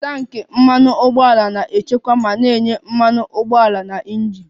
Tanki Mmanụ ụgbọala na-echekwa ma na-enye mmanụ ụgbọala na injin